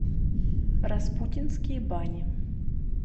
распутинские бани